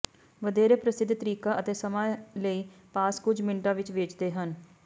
ਵਧੇਰੇ ਪ੍ਰਸਿੱਧ ਤਰੀਕਾਂ ਅਤੇ ਸਮੇਂ ਲਈ ਪਾਸ ਕੁਝ ਮਿੰਟਾਂ ਵਿੱਚ ਵੇਚਦੇ ਹਨ